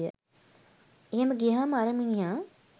එහෙම ගියහම අර මිනිහා